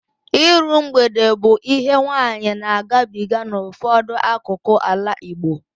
Iru mgbede bụ ihe nwaanyị na-agabiga n'ụfọdụ akụkụ ala Igbo